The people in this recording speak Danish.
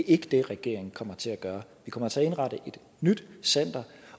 ikke det regeringen kommer til at gøre vi kommer til at indrette et nyt center